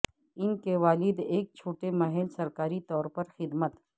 ان کے والد ایک چھوٹے محل سرکاری طور پر خدمت